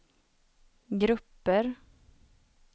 grupper